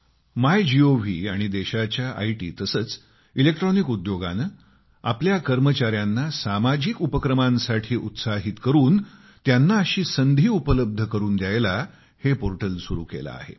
MyGov आणि देशाच्या IT तसेच इलेक्ट्रॉनिक उद्योगाने आपल्या कर्मचार्यांना सामाजिक उपक्रमांसाठी उत्साहित करून त्यांना अशी संधी उपलब्ध करून द्यायला हे पोर्टल सुरू केले आहे